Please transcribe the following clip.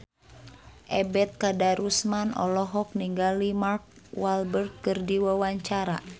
Ebet Kadarusman olohok ningali Mark Walberg keur diwawancara